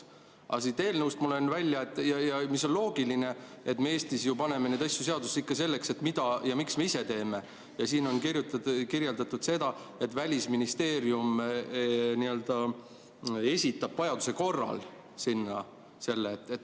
Aga siit eelnõust ma loen välja – mis on ka loogiline, sest me Eestis ju paneme seadusesse ikka seda, mida ja miks me ise teeme –, siin on kirjutatud, et Välisministeerium esitab vajaduse korral selle sinna.